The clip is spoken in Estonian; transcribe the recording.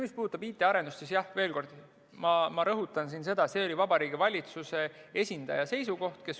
Mis puudutab IT-arendust, siis ma rõhutan, et see oli Vabariigi Valitsuse esindaja seisukoht.